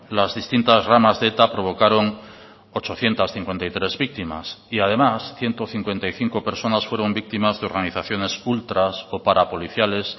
las distintas ramas de eta provocaron ochocientos cincuenta y tres víctimas y además ciento cincuenta y cinco personas fueron víctimas de organizaciones ultras o parapoliciales